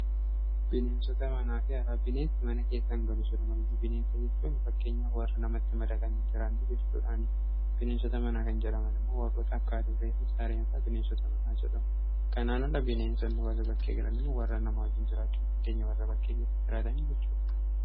bineensota manaafi yaalaa bineensi mana keessan galu silumayyuu bineensa jechuun fakkeenya warra namatti madaqaniin jiraanni gessuudhaani bineensota manaa kan jiraman immoo warroota akka adurree, saareenfaa bineensota manaa jedhamu kanaan alla bineenso inni warra bakkee giranimmu warra namaa wajjiin jiraachuun hindeenya warra bakkee keessa jiaatan jechudha